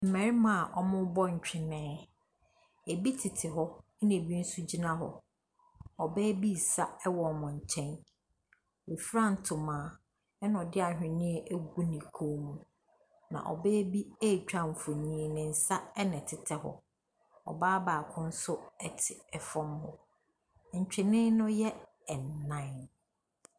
Mmarma a wɔrebɔ ntwene. Ebi tete hɔ na ebi nso gyina hɔ. Ɔbaa bi resa wɔ wɔn nkyɛn. Wafura ntoma na ɔde ahweneɛ agu ne kɔn mu. Na ɔbaa bi retwa mfonyini. Ne nsa na ɛtetɛ hɔ. Ɔbaa baako te fam hɔ. Ntwene no yɛ nan.